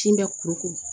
Kin bɛ kuru kuru